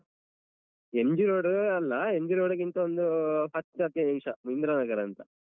MG road ಅಲ್ಲ MG road ಗಿಂತ ಒಂದು ಹತ್ ಹದ್ನೈದ್ ನಿಮ್ಷ ಇಂದ್ರಾನಗರ ಅಂತ.